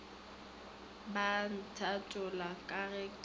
ba ntatola ka ge ke